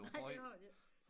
Nej det har de ikke